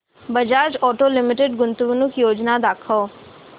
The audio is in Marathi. बजाज ऑटो लिमिटेड गुंतवणूक योजना दाखव